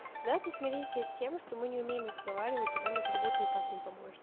давайте смиритесь с тем что мы не умеем разговаривать и нам этот бот никак не поможет